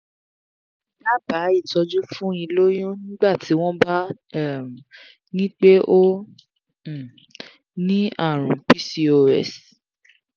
daba itọ́jú fún iloyun nigbati wọn bá um nipe o um ni àrùn pcos